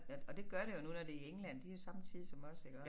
At og det gør det jo nu når det er i England de er jo samme tid som os iggå